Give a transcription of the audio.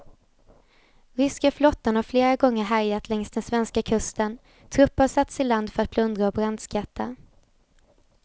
Ryska flottan har flera gånger härjat längs den svenska kusten, trupper har satts i land för att plundra och brandskatta.